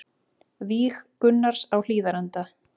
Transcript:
Víg Gunnars á Hlíðarenda